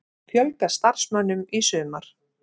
Fjölga starfsmönnum í sumar